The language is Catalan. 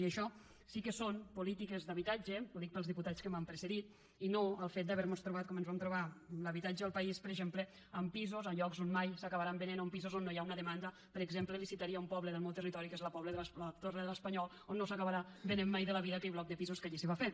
i això sí que són polítiques d’habitatge ho dic pels diputats que m’han precedit i no el fet d’haver nos trobat com ens vam trobar l’habitatge al país per exemple amb pisos a llocs on mai s’acabaran venent o amb pisos on no hi ha una demanda per exemple li citaria un poble del meu territori que és la torre de l’espanyol on no s’acabarà venent mai de la vida aquell bloc de pisos que allí s’hi va fer